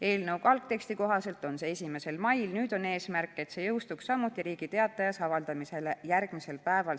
Eelnõu algteksti kohaselt oli tähtpäev 1. mail, nüüd on eesmärk, et seadus jõustuks samuti Riigi Teatajas avaldamisele järgmisel päeval.